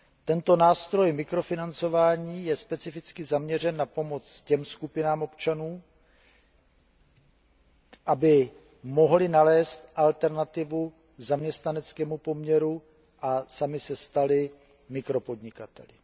Tento nástroj mikrofinancování je specificky zaměřen na pomoc těmto skupinám občanů, aby mohli nalézt alternativu k zaměstnaneckému poměru a sami se stali mikropodnikateli.